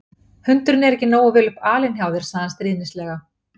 Hundurinn er ekki nógu vel upp alinn hjá þér sagði hann stríðnislega.